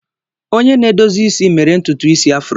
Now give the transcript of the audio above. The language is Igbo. Onye na-edozi isi mere ntutu isi afro.